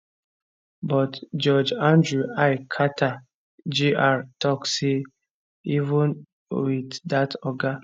but judge andrew l carter jr tok say even wit dat oga